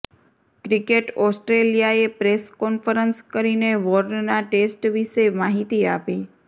cricket ઓસ્ટ્રેલિયાએ press conference કરીને વોર્નના ટેસ્ટ વિશે માહિતી આપી